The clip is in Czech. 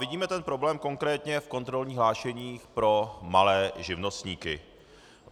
Vidíme ten problém konkrétně v kontrolních hlášeních pro malé živnostníky.